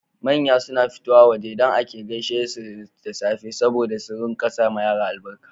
Manya suna fitowa waje dan ake gaishe dasu da safe saboda su sawa Yara albarka